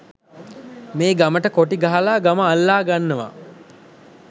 මේ ගමට කොටි ගහලා ගම අල්ලා ගන්නවා.